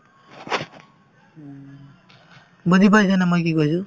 বুজি পাইছানে মই কি কৈছো